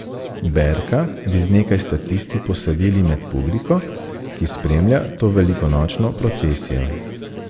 Berka bi z nekaj statisti posadili med publiko, ki spremlja to velikonočno procesijo.